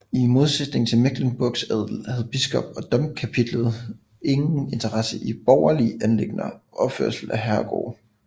I modsætning til Mecklenburgs adel havde biskop og domkapitlet ingen interesse i borgerlige anliggender og opførelsen af herregårde